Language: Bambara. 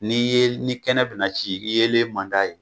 N'i ye ni kɛnɛ bɛna ci yeelen man d'a ye